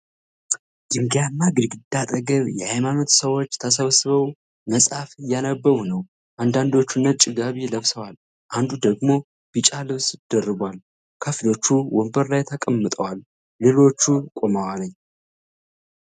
ድንጋያማ ግድግዳ አጠገብ፣ የሃይማኖት ሰዎች ተሰብስበው መጽሐፍ እያነበቡ ነው። አንዳንዶቹ ነጭ ጋቢ ለብሰዋል፤ አንዱ ደግሞ ቢጫ ልብስ ደርቧል። ከፊሎቹ ወንበር ላይ ተቀምጠዋል፣ ሌሎቹም ቆመዋል።